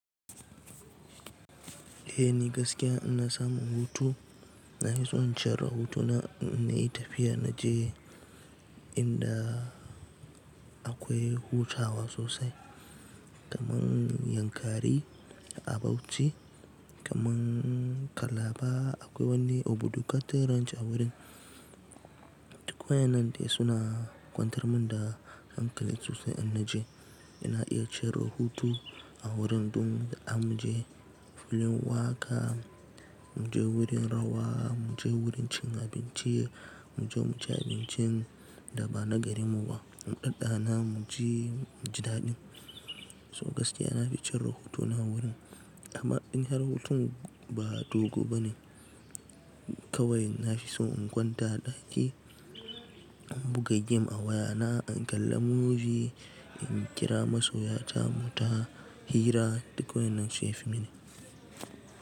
Eh ni gaskiya ina samun hutu, na fi son cire hutuna ina yi tafiya naje inda akwai hutawa sosai kamar Yankari a Bauchi, kamar Calabar akwai wani obudu cattle ranch a wurin. Duk waɗannan dai suna kwantar min da hankali sosai ina je. Ina iya cire hutu a wurin ɗin da an mu je filin waka, mu je wurin rawa, mu je wurin cin abinci, mu je mu ci abincin da ba na garinmu ba, mu ɗanɗa na mu ji muji daɗin. So gaskiya nafi cinye hutuna a wurin amma in har hutun ba dogo bane. Kawai na fi so in kwanta ɗaki, in buga gem a wayana, in kalla movie, in jira masoya ta muyita hira duk waɗannan shi yafi mini.